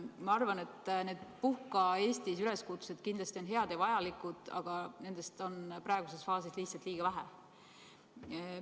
Ma arvan, et need "Puhka Eestis!" üleskutsed on kindlasti head ja vajalikud, aga nendest on praeguses faasis lihtsalt liiga vähe.